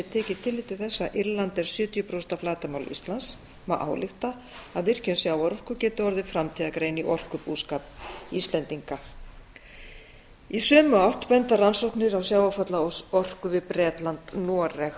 þess að írland er sjötíu prósent af flatarmáli íslands má álykta að virkjun sjávarorku geti orðið framtíðargrein í orkubúskap íslendinga í sömu átt benda rannsóknir á sjávarfallaorku við bretland noreg